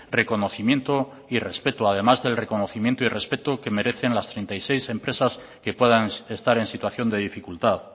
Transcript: reconocimiento y respeto además del reconocimiento y respeto que merecen las treinta y seis empresas que puedan estar en situación de dificultad